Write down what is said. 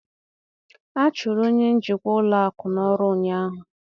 A chụrụ onye njikwa ụlọ akụ n'ọrụ ụnyaahụ